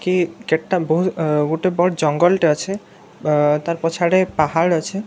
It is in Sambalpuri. କି କେତେଟା ବହୁତ୍‌ ଗୋଟେ ବଡ଼ ଜଙ୍ଗଲ ଟେ ଅଛେ ଅ ତାର୍‌ ପଛ୍‌ ଆଡେ ପାହାଡ଼ ଅଛେ ଜଙ୍ଗ--